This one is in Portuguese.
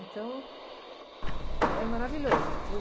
Então, é maravilhoso. Eu fui...